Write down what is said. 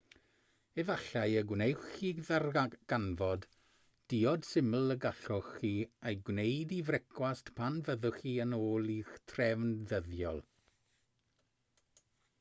efallai y gwnewch chi ddarganfod diod syml y gallwch chi ei gwneud i frecwast pan fyddwch chi yn ôl i'ch trefn ddyddiol